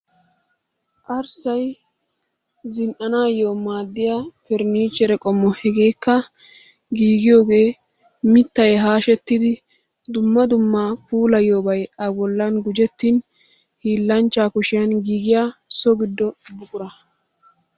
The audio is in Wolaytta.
Arssay zin"anayoo maaddiyaa pernichere qoommo. Hegeekka giigiyoogee mittay haashshettidi dumma dumma puulayiyoobay a bollan gujjettin hiillanchchaa kuushshiyaan giiggiyaa so giddo buqura.